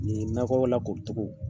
Nin nakɔ lakori cogo.